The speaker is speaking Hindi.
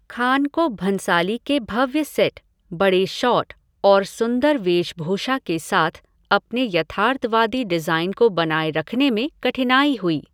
खान को भंसाली के भव्य सेट, बड़े शॉट् और सुंदर वेशभूषा के साथ अपने यथार्थवादी डिज़ाईन को बनाए रखने में कठिनाई हुई।